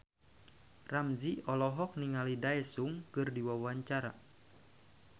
Ramzy olohok ningali Daesung keur diwawancara